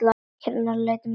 Hvað hét meinið?